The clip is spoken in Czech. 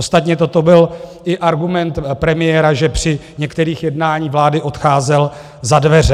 Ostatně toto byl i argument premiéra, že při některých jednání vlády odcházel za dveře.